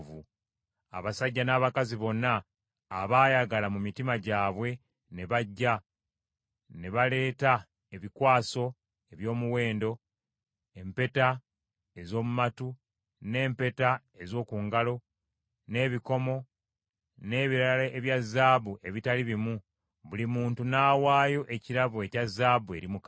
Abasajja n’abakazi bonna abaayagala mu mitima gyabwe ne bajja; ne baleeta ebikwaso eby’omuwendo, empeta ez’omu matu, n’empeta ez’oku ngalo, n’ebikomo, n’ebirala ebya zaabu ebitali bimu; buli muntu n’awaayo ekirabo ekya zaabu eri Mukama .